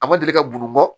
A ma deli ka bun bɔ